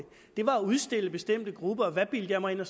det var at udstille bestemte grupper og hvad bildte jeg mig ind og